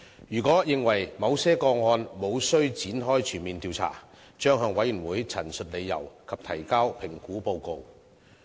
如果認為某些個案無須展開全面調查，將向委員會陳述理由及提交評估報告。